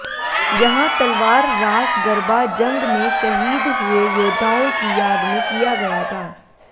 यहां तलवार रास गरबा जंग में शहीद हुए योद्धाओं की याद में किया गया था